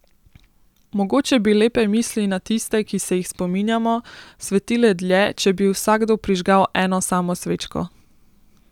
Mogoče bi lepe misli na tiste, ki se jih spominjamo, svetile dlje, če bi vsakdo prižgal eno samo svečko.